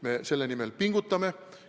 Me selle nimel pingutame.